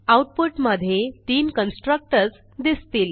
output मधे तीन constructors दिसतील